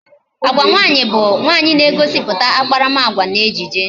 Agwa nwaanyị bụ nwaanyị na-egosiputa akparamagwa n'ejije